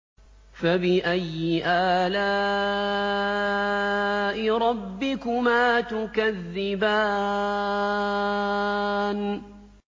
فَبِأَيِّ آلَاءِ رَبِّكُمَا تُكَذِّبَانِ